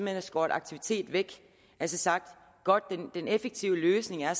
havde skåret aktivitet væk altså sagt godt den effektive løsning er